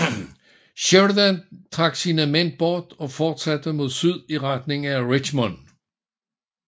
Sheridan trak sine mænd bort og fortsatte mod syd i retning af Richmond